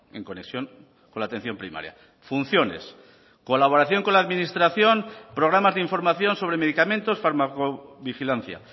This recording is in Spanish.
en conexión con la atención primaria funciones colaboración con la administración programas de información sobre medicamentos farmacovigilancia